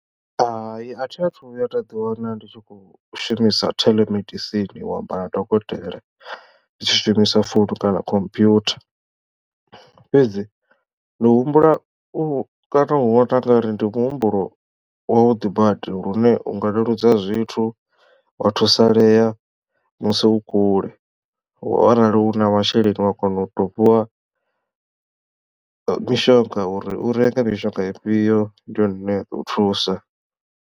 Hai athi athu vhuya nda ḓi wana ndi tshi khou shumisa telemedicine u amba na dokotela ndi tshi shumisa founu kana computer fhedzi ndi humbula u kana u vhona ngauri ndi muhumbulo wa vhuḓi badi lune unga leludza zwithu wa thusalea musi u kule arali u na masheleni wa kona u to fhiwa mishonga uri u renge mishonga ifhio ndi yone ine ya ḓo u thusa.